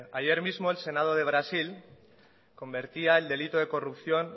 asko ayer mismo el senado de brasil convertía el delito de corrupción